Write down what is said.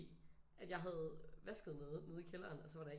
At jeg havde vasket noget nede i kælderen og så var der en